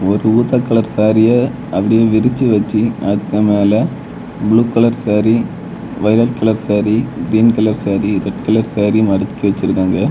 ஒரு ஊத கலர் சாரிய அப்படியே விரிச்சு வெச்சு அதுக்கு மேல blue colour sari violet colour sari green colour sari red colour sari மடிக்கி வச்சிருக்காங்க.